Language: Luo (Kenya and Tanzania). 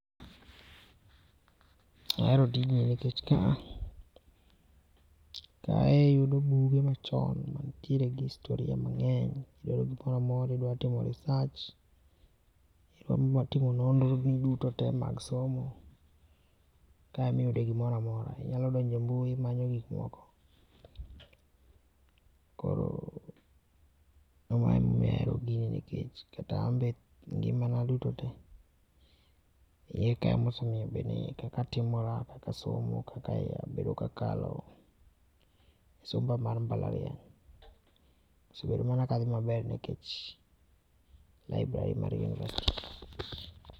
Ahero tijni nikech ka, kae iyudo buge machon, mantiere gi historia mangeny, Idwaro gimoro amora, idwa timo research, idwa timo nonro ni duto te mag somo, kae ema iyude gimora amora. Inyalo donje e mbui imanyo gik moko. Koro ma ema omiyo ahero gini nikech kata anbe e ngimana duto tee, iye kae ema osemiyo kaka atimora, kaka asomo, kaka abedo kakalo somba mar mbalariany. Asebedo mana ka adhi maber nikech library mar university.